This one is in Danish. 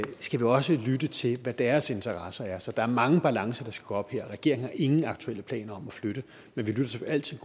skal vi også lytte til hvad deres interesser er så der er mange balancer der skal gå op her regeringen har ingen aktuelle planer om at flytte men vi lytter altid